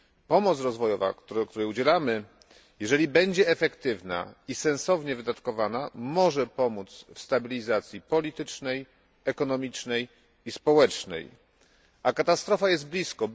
Pomoc rozwojowa, której udzielamy, jeżeli będzie efektywna i sensownie wydatkowana, może pomóc w stabilizacji politycznej, ekonomicznej i społecznej. A katastrofa jest blisko.